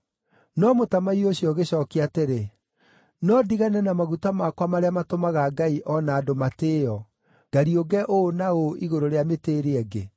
“No mũtamaiyũ ũcio ũgĩcookia atĩrĩ, ‘No ndigane na maguta makwa marĩa matũmaga ngai o na andũ matĩĩo, ngariũnge ũũ na ũũ igũrũ rĩa mĩtĩ ĩrĩa ĩngĩ?’